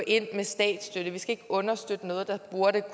ind med statsstøtte vi skal ikke understøtte noget der burde